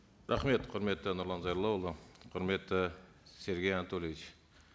рахмет құрметті нұрлан зайроллаұлы құрметті сергей анатольевич